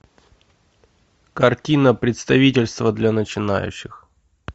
картина представительство для начинающих